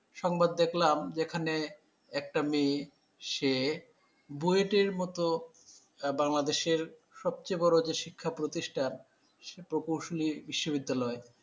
সংবাদ দেখলাম যেখানে একটা মেয়ে সে বুয়েটের মত। বাংলাদেশের সবচেয়ে বড় যে শিক্ষাপ্রতিষ্ঠান সেই প্রকৌশলী বিশ্ববিদ্যালয়,